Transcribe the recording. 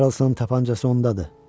Karlsonun tapancası ondadır.